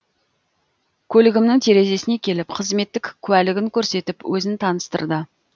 көлігімнің терезесіне келіп қызметтік куәлігін көрсетіп өзін таныстырды